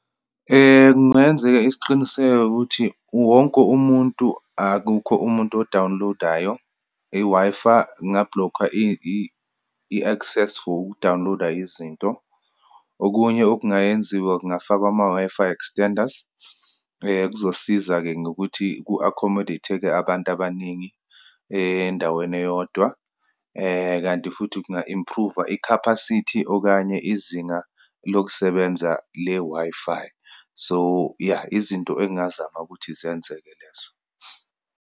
Kungeyenzeka isiqiniseko ukuthi wonke umuntu, akukho umuntu odawunilodayo. I-Wi-Fi, nginga-block-a i-access for ukudawuniloda izinto. Okunye okungayenziwa, kungafakwa ama-Wi-Fi extender, kuzosiza-ke ngokuthi ku-accommodate-ke abantu abaningi endaweni eyodwa. Kanti futhi kunga improve-wa i-capacity, okanye izinga lokusebenza le-Wi-Fi. So, ya izinto engingazama ukuthi zenzeke lezo.